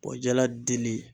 O jala deli